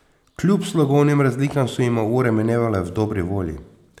Kljub slogovnim razlikam so jima ure minevale v dobri volji.